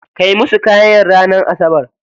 Kai musu kayan ranar asabar.